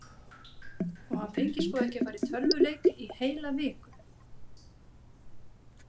Og hann fengi sko ekki að fara í tölvuleik í heila viku.